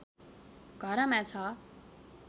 घरमा छ